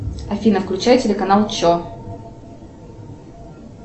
афина включай телеканал че